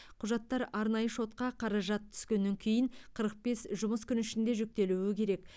құжаттар арнайы шотқа қаражат түскеннен кейін қырық бес жұмыс күні ішінде жүктелуі керек